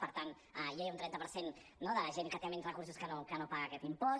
per tant ja hi ha un trenta per cent no de la gent que té menys recursos que no paga aquest impost